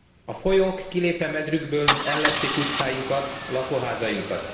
A folyók, kilépve medrükből ellepték utcáinkat, lakóházainkat.